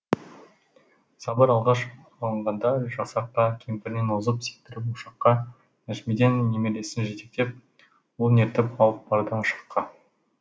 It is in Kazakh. сабыр алғаш алынғанда жасаққа кемпіріне тұз септіріп ошаққа нәжімеден немересін жетектеп ұлын ертіп алып барды ашаққа